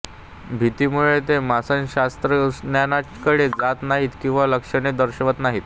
भीतीमुळे ते मानसशास्त्रज्ञांकडे जात नाहीत किंवा लक्षणे दर्शवत नाहीत